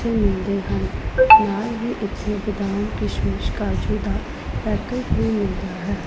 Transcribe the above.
ਵੀ ਮਿਲਦੇ ਹਨ ਨਾਲ ਹੀ ਇੱਥੇ ਬਦਾਮ ਕਾਜੂ ਕਿਸ਼ਮਿਸ਼ ਦਾ ਪੈਕਟ ਵੀ ਮਿਲਦਾ ਹੈ।